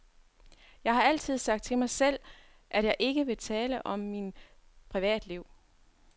Jeg har altid sagt til mig selv, at jeg ikke vil tale om min privatliv.